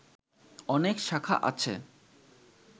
অনেক শাখা আছে